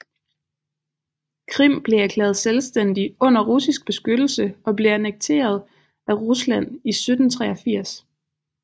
Krim blev erklæret selvstændig under russisk beskyttelse og blev annekteret af Rusland i 1783